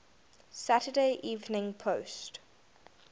saturday evening post